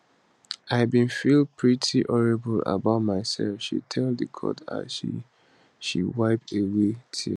i bin feel pretty horrible about myself she tell di court as she she wipe away tears